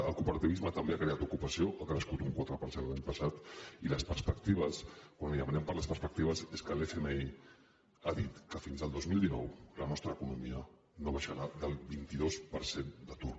el cooperativisme també ha creat ocupació ha crescut un quatre per cent l’any passat i les perspectives quan li demanem per les perspectives és que l’fmi ha dit que fins el dos mil dinou la nostra economia no baixarà del vint dos per cent d’atur